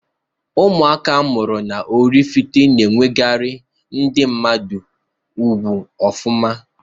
Ụmụaka amụrụ n'Ọraifite na akwanyere ndi mmadu ugwu ọfụma.